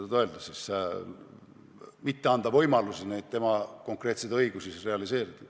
– kelleltki võtta võimaluse oma õigusi realiseerida.